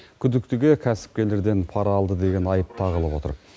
күдіктіге кәсіпкерлерден пара алды деген айып та тағылып отыр